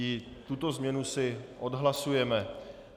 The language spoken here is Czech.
I tuto změnu si odhlasujeme.